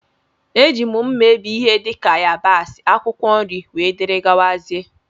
Eji mma ebe ihe dika yabasi, akwụkwọ nri wdg.